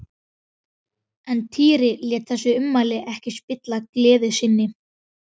Reyndu nú að borða, Emil minn, sagði mamma.